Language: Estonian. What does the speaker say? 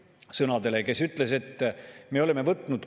Näed, 15 aastat on möödas ja jällegi Reformierakonna juhtimisel me tõstame makse.